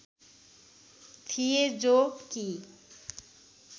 थिए जो कि